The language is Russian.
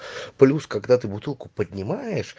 плюс когда ты бутылку поднимаешь